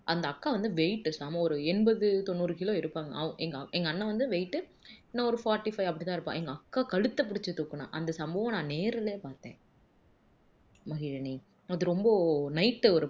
அந்த அக்கா வந்து weight செம ஒரு எண்பது தொண்ணூறு kilo இருப்பாங்க அவு எங்க் எங்க அண்ணன் வந்து weight உ என்ன ஒரு forty-five அப்படி தான் இருப்பான் எங்க அக்கா கழுத்தை புடிச்சு தூக்குனான் அந்த சம்பவம் நான் நேருல பாத்தேன் மகிழினி அது ரொம்ப night உ ஒரு